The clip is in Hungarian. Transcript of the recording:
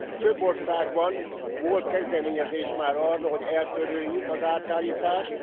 Több országban volt kezdeményezés már arra, hogy eltöröljük az átállítást.